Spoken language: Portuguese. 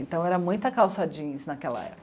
Então era muita calça jeans naquela época.